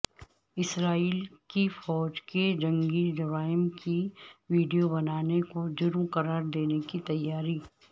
اسرائیل کی فوج کے جنگی جرائم کی ویڈیو بنانے کو جرم قرار دینے کی تیاری